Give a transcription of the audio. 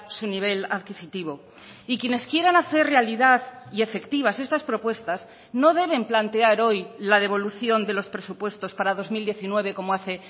su nivel adquisitivo y quienes quieran hacer realidad y efectivas estas propuestas no deben plantear hoy la devolución de los presupuestos para dos mil diecinueve como hace